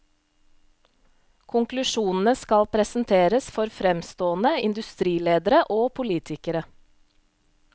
Konklusjonene skal presenteres for fremstående industriledere og politikere.